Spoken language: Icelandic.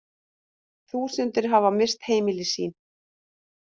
Þúsundir hafa misst heimili sín